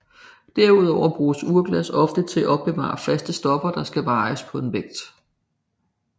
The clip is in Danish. Derudover bruges urglas ofte til at opbevare faste stoffer der skal vejes på en vægt